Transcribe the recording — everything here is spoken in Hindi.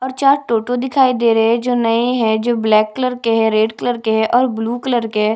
और चार टोटो दिखाई दे रहै हैं जो नए है जो ब्व्लैक कलर के हैं रेड कलर के है और ब्लू कलर के है।